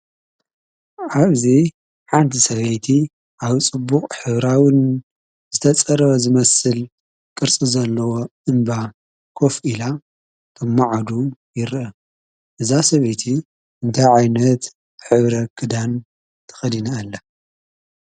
ኣብዚ ሓንቲ ሰበይቲ ኣብ ፅቡቅ ሕብራውን ዝተፀረበ ዝመስል ቅርፂ ዘለዎ እንባ ከፍ ኢላ ተምዓዱ ይርአ። እዛ ሰበይቲ እንታይ ዓይነት ሕብሪ ክዳን ተኸዲና ኣላ?